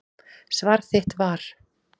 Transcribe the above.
Svar þitt var.